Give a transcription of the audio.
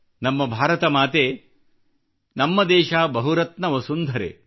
ನಮ್ಮ ಭಾರತ ಮಾತೆ ನಮ್ಮ ದೇಶ ಬಹುರತ್ನ ವಸುಂಧರೆ